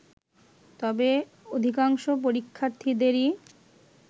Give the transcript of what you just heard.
তবে অধিকাংশ পরীক্ষার্থীদেরই